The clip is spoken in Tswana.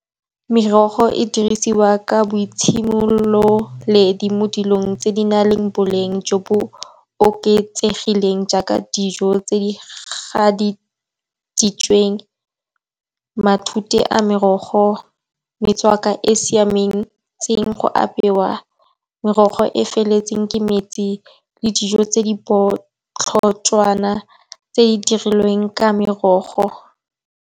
Merogo e dirisiwa ka boitsemololeledi mo dilong tse di nang le boleng jo bo oketsegileng, jaaka dijo tse di gaditsitsweng, matute a merogo, metswako e e siametseng go apeiwa. Merogo e e feletseng ke metsi, le dijo tse di botlhoswana tse di dirilweng ka merogo.